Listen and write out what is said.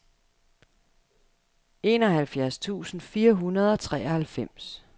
enoghalvfjerds tusind fire hundrede og treoghalvfems